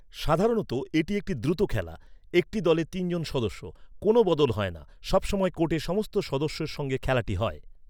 সাধারণত এটি একটি দ্রুত খেলা। একটি দলে তিন জন সদস্য। কোনও বদল হয় না। সব সময় কোর্টে সমস্ত সদস্যের সঙ্গে খেলাটি হয়।